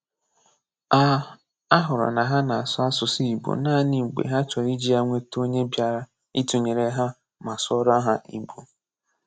A A hụrụ na ha na-asụ̀ asụsụ Ị̀gbò naanị mgbe ha chọrọ iji ya nweta onye bịara ịtụnyere ha ma sụọrọ ha Ị̀gbò.